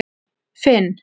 Finn